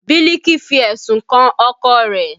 Biliki fi ẹ̀sùn kan ọkọ rẹ̀